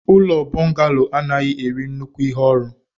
ụlọ bọngalo anaghị eri nnukwu ihe orụ.